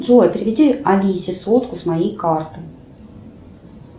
джой переведи алисе сотку с моей карты